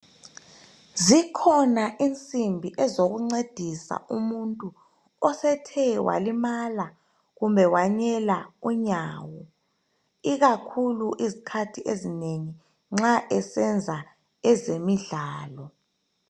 Zikhona insimbi ezokuncedisa umuntu osethe walimala kumbe wanyela unyawo, ikakhulu izikhathi ezinengi nxa esenza ezemidlalo